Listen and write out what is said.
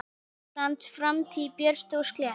Íslands framtíð björt og slétt.